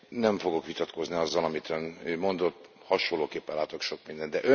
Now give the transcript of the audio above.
Nem fogok vitatkozni azzal, amit Ön mondott, hasonlóképpen látok sok mindent.